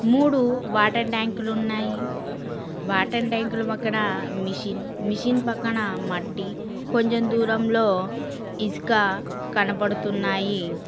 మూడు వాటర్ ట్యాంకులు ఉన్నాయి వాటర్ ట్యాంకులు పక్కన మిషన్ మిషన్ పక్కన మట్టి కొంచం దూరంలో ఇసుక కనబడుతున్నాయి.